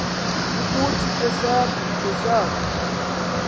ukuthi esaph esaph